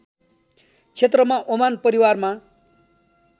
क्षेत्रमा ओमान परिवारमा